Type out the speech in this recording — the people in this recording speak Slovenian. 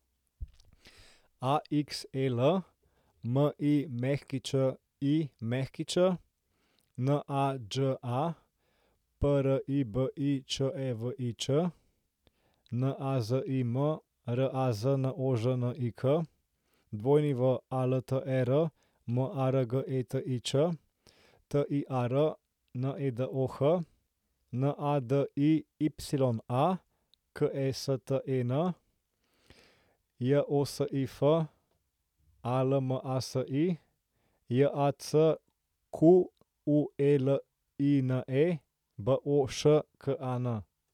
Axel Mićić, Nađa Pribičevič, Nazim Raznožnik, Walter Margetič, Tiar Nedoh, Nadiya Kesten, Josif Almasi, Jacqueline Boškan.